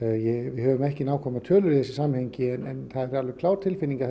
við höfum ekki nákvæmar tölur í þessu samhengi en það er alveg klár tilfinning að